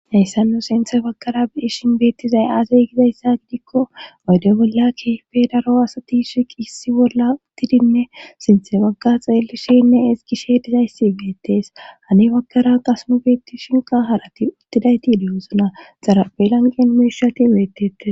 Hayssa nu sinthe bakara biishin beettizay aazey gizayssa gidikko wayde bolla kefe daro asati shiqi issi bolla uttidinne sinthe bagga xeelishenne esgishe dizayssi geettees hane bakkara qasmu beetti shinqa harati uttidayti dewosona xarapelanqen meshati beettetes.